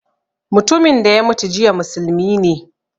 Mutumin da ya mutu jiya musulmi ne